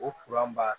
O b'a